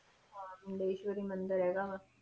ਹਾਂ ਮੁੰਡੇਸ਼ਵਰੀ ਮੰਦਿਰ ਹੈਗਾ ਵਾ।